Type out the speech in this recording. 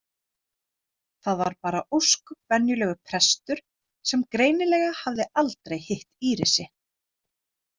Þar var bara ósköp venjulegur prestur sem greinilega hafði aldrei hitt Írisi.